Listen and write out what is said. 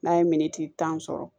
N'a ye miniti tan sɔrɔ